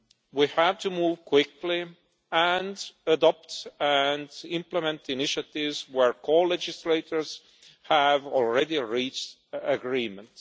We have to move quickly, and adopt and implement initiatives where the co legislators have already reached agreement.